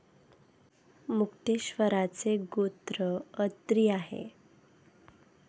मुक्तेश्वरांचे गोत्र अत्री आहे.